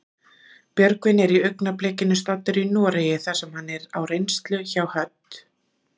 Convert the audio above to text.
Björgvin er í augnablikinu staddur í Noregi þar sem hann er á reynslu hjá Hödd.